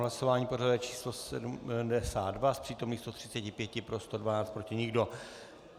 Hlasování pořadové číslo 72, z přítomných 135 pro 112, proti nikdo.